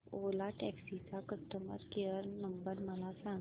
ओला taxi चा customer care number मला सांग